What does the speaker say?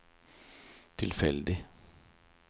tilfeldig